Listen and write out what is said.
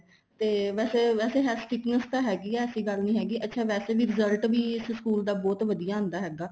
ਤੇ ਵੈਸੇ ਵੈਸੇ ਹੈ sickness ਤਾਂ ਹੈਗੀ ਆ ਏਸੀ ਗੱਲ ਨਹੀਂ ਹੈਗੀ ਅੱਛਾ ਵੈਸੇ result ਵੀ ਇਸ ਸਕੂਲ ਦਾ ਬਹੁਤ ਵਧੀਆ ਆਂਦਾ ਹੈਗਾ